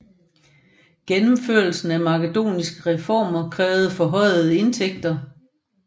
Gennemførelsen af makedoniske reformer krævede forhøjede indtægter